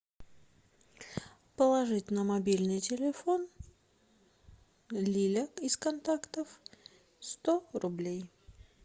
положить на мобильный телефон лиля из контактов сто рублей